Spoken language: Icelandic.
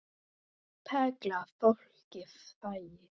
Perla Fólkið þagði.